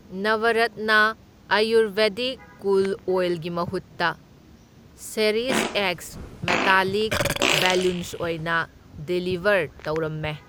ꯅꯕꯔꯠꯅ ꯑꯌꯨꯔꯚꯦꯗꯤꯛ ꯀꯨꯜ ꯑꯣꯏꯜꯒꯤ ꯃꯍꯨꯠꯇ, ꯆꯦꯔꯤꯁꯑꯦꯛꯁ ꯃꯦꯇꯜꯂꯤꯛ ꯕꯂꯨꯟꯁ ꯑꯣꯏꯅ ꯗꯤꯂꯤꯕꯔ ꯇꯧꯔꯝꯃꯦ꯫